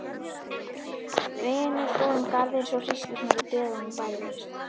Hvinur fór um garðinn svo hríslurnar í beðunum bærðust.